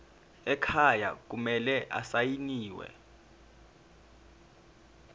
ekhaya kumele asayiniwe